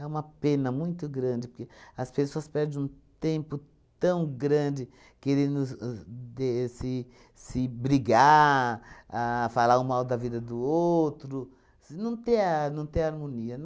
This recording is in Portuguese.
É uma pena muito grande, porque as pessoas perdem um tempo tão grande querendo os os de se se brigar, a falar um mal da vida do outro, s não ter a não ter harmonia.